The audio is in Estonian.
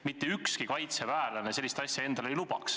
Mitte ükski kaitseväelane sellist asja endale ei lubaks.